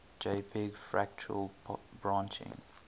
jpg fractal branching